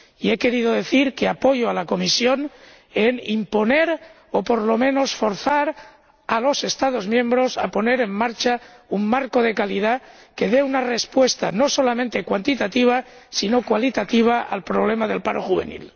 Y he querido decir que apoyo a la Comisión en imponer, o por lo menos forzar, a los Estados miembros a poner en marcha un marco de calidad que dé una respuesta no solo cuantitativa, sino también cualitativa al problema del paro juvenil.